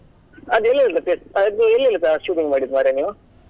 ಅದು ಎಲ್ಲಿಯೆಲ್ಲ place ಅದು ಎಲ್ಲಿಯಲ್ಲ shooting ಮಾಡಿದ್ದು ಮಾರ್ರೆ ನೀವು?